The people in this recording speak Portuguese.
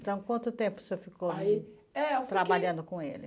Então, quanto tempo o senhor ficou, aí, eh, trabalhando com ele?